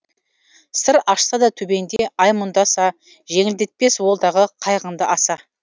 сыр ашса да төбеңде ай мұңдаса жеңілдетпес ол дағы қайғыңды аса